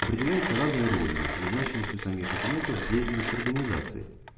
определяется разной ролью и значимостью самих документов в деятельности организации